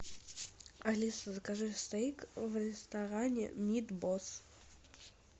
алиса закажи стейк в ресторане мид босс